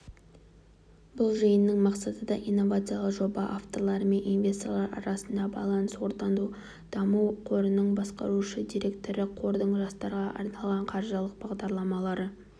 бұл жиынның мақсаты да инновациялық жоба авторлары мен инвесторлар арасында байланыс орнату даму қорының басқарушы директоры қордың жастарға арналған қаржылық бағдарламалары